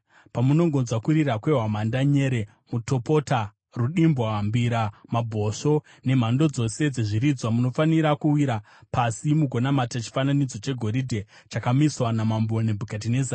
Pamunongonzwa kurira kwehwamanda, nyere, mutopota, rudimbwa, mbira, mabhosvo nemhando dzose dzezviridzwa, munofanira kuwira pasi mugonamata chifananidzo chegoridhe chakamiswa naMambo Nebhukadhinezari.